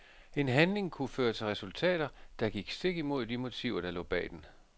En handling kunne føre til resultater, der gik stik imod de motiver der lå bag den.